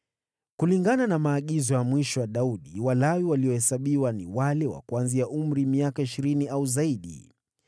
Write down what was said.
Kulingana na maagizo ya mwisho ya Daudi, Walawi waliohesabiwa ni wale wa kuanzia umri wa miaka ishirini au zaidi.